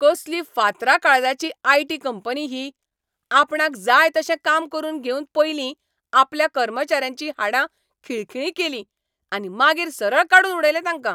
कसली फातरा काळजाची आय. टी. कंपनी ही. आपणाक जाय तशें काम करून घेवन पयलीं आपल्या कर्मचाऱ्यांचीं हाडां खिळखिळीं केलीं आनी मागीर सरळ काडून उडयले तांकां!